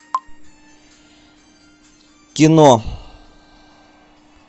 кино